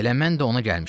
Elə mən də ona gəlmişəm.